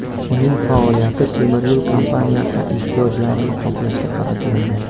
Uning faoliyati temiryo‘l kompaniyasi ehtiyojlarini qoplashga qaratiladi.